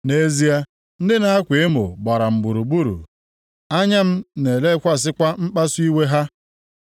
Nʼezie ndị na-akwa emo gbara m gburugburu; anya m na-elekwasịkwa mkpasu iwe ha.